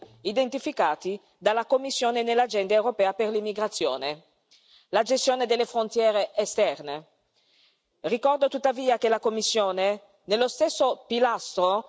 ma che di sicuro contribuirà a consolidare uno dei quattro pilastri identificati dalla Commissione nell'agenda europea per le migrazioni la gestione delle frontiere esterne.